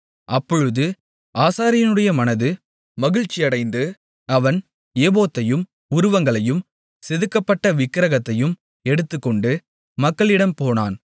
அப்பொழுது ஆசாரியனுடைய மனது மகிழ்ச்சியடைந்து அவன் ஏபோத்தையும் உருவங்களையும் செதுக்கப்பட்ட விக்கிரகத்தையும் எடுத்துக்கொண்டு மக்களிடம் போனான்